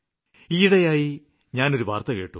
അടുത്തിടെ ഞാന് ഒരു വാര്ത്ത കേട്ടു